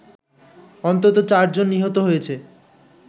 অন্তত চারজন নিহত হয়েছে